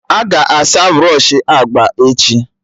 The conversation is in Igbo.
Aga asa brọshị agba echi